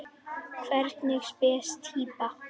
Hvernig spes týpa?